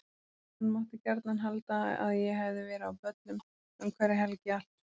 Hann mátti gjarnan halda að ég hefði verið á böllum um hverja helgi allt sumarið.